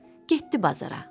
Getdi bazara.